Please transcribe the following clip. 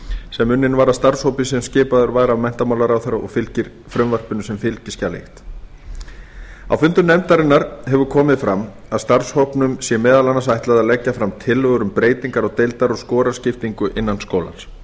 sem unnin var af starfshópi sem skipaður var af menntamálaráðherra og fylgir frumvarpinu sem fylgiskjal fyrstu á fundum nefndarinnar hefur komið fram að starfshópnum sé meðal annars ætlað að leggja fram tillögur um breytingar á deildar og skoraskiptingu innan skólans